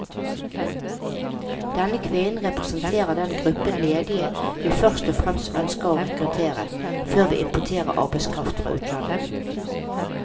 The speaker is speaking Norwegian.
Denne kvinnen representerer den gruppen ledige vi først og fremst ønsker å rekruttere, før vi importerer arbeidskraft fra utlandet.